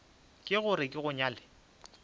le gore ke go nyale